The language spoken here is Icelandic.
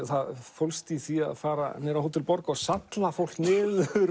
fólst í því að fara niður á Hótel borg og salla fólk niður